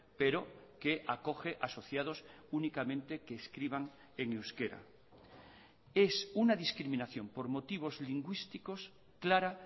pero que acoge asociados únicamente que escriban en euskera es una discriminación por motivos lingüísticos clara